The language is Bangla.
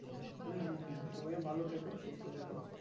হুম হুম হুম তুমিও ভালো থেকো সুস্থ থেকো